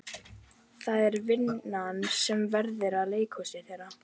Það er vinn- an sem verður að vera leikhúsið þeirra.